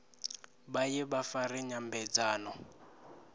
vha ye vha fare nyambedzano